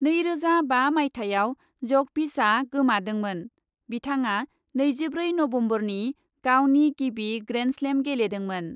नैरोजा बा मायथाइयाव जकभिचआ गोमादोंमोन। बिथाङा नैजिब्रै नम्बरनि गावनि गिबि ग्रेन्डस्लेम गेलेदोंमोन।